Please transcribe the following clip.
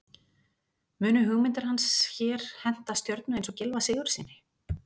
Munu hugmyndir hans hér henta stjörnu eins og Gylfa Sigurðssyni?